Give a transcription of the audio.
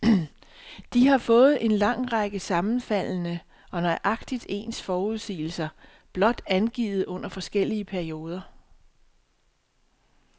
De har fået en lang række sammenfaldende og nøjagtigt ens forudsigelser blot angivet under forskellige perioder.